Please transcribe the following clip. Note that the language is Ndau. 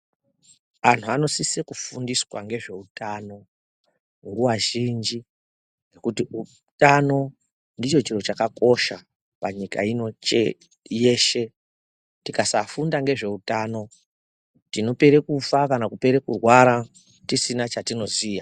Antu anosisa kufundiswa ngezveutano nguwa zhinji ngekuti utano ndicho chiro chakakosha panyika ino yeshe. Tikasafunda nezveutano tinopere kufa kana kupere kurwara tisina chetinoziya.